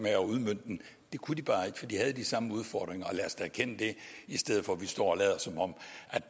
at udmønte den det kunne de bare ikke for de havde samme udfordringer og lad os da erkende det i stedet for at vi står og lader som om